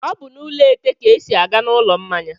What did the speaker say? Ọ bụ n'ụlọ ètè ka e si aga n'ụlọ mmanya.